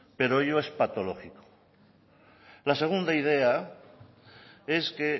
pero ello es patológico la segunda idea es que